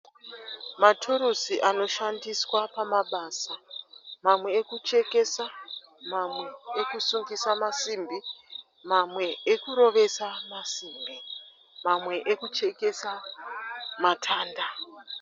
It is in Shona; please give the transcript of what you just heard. Maturusi anoshandiswa pamabasa. Mamwe ekuchekesa. Mamwe ekusungisa masimbi. Mamwe ekurovesa masimbi. Mamwe ekuchekesa matanda.